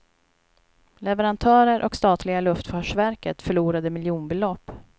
Leverantörer och statliga luftfartsverket förlorade miljonbelopp.